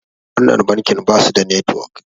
wannan bankin ba su da network